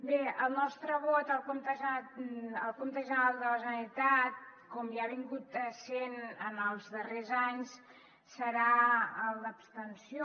bé el nostre vot al compte general de la generalitat com ja ha estat en els darrers anys serà el d’abstenció